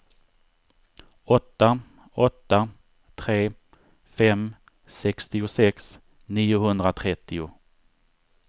åtta åtta tre fem sextiosex niohundratrettio